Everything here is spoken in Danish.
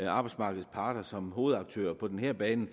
arbejdsmarkedets parter som hovedaktører på den her bane